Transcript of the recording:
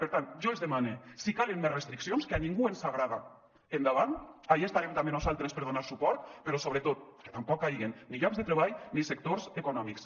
per tant jo els demane si calen més restriccions que a ningú ens agrada endavant ahí estarem també nosaltres per donar suport però sobretot que tampoc caiguen ni llocs de treball ni sectors econòmics